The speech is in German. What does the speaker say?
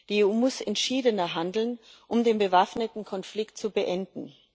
Die EU muss entschiedener handeln, um den bewaffneten Konflikt zu beenden.